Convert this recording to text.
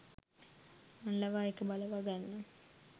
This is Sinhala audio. මං ලවා ඒක බලවාගන්න